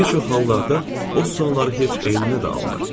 Bir çox hallarda o sualları heç eyninə də almır.